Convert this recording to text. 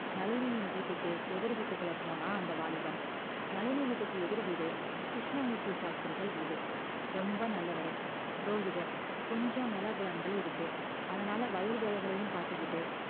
நளினியின் வீட்டுக்கு எதிர் வீட்டுக்குள்ள போனான் அந்த வாலிபன் நளினி வீட்டுக்கு எதிர் வீடு கிருஷ்ணமூர்த்தி சாஸ்திரிகள் வீடு ரொம்ப நல்லவரு புரோகிதர் கொஞ்சம் நிலபுலன்கள் இருக்கு அதனால வயல் வேலைகளையும் பார்த்துக்கிட்டு